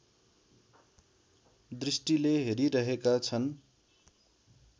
दृष्टिले हेरिरहेका छन्